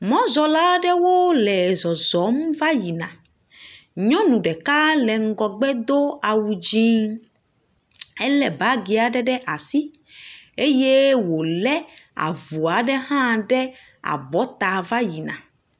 Mɔzɔla ɖewo le zɔzɔm va yina. Nyɔnu ɖeka le ŋgɔgbe do awu dzi. Ele bagi aɖe ɖe asi eye wole avu aɖe hã ɖe abɔta va yina.